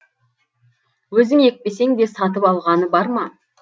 өзің екпесең де сатып алғаны бар ма